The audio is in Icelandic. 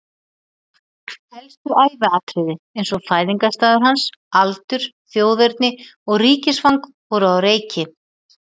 Helstu æviatriði eins og fæðingarstaður hans, aldur, þjóðerni og ríkisfang voru á reiki.